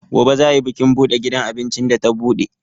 Gobe za ai bikin buɗe gidan abincin da ta buɗe.